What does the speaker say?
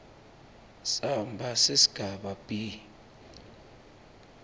samba sesigaba b